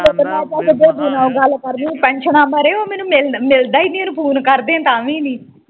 ਚਾਚੇ ਦੇਬੂ ਨਾ ਓ ਗੱਲ ਕਰਨੀ ਪੈਨਸ਼ਨਾ ਬਾਰੇ ਉਹ ਮੈਨੂੰ ਮਿਲਦਾ ਈ ਨਹੀਂ ਓਹਨੂੰ ਫੋਨ ਕਰਦੇ ਤਾਂ ਵੀ ਨਹੀਂ